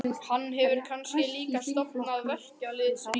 Hann hefur kannski líka stofnað verkalýðsríki?